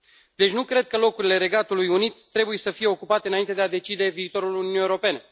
Deci, nu cred că locurile Regatului Unit trebuie să fie ocupate înainte de a decide viitorul Uniunii Europene.